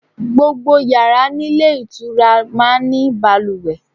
Gbogbo yàrá nílé ìtura máa ní balùwẹ̀.